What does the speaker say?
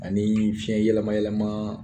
Ani fiɲɛ yɛlɛma yɛlɛmaa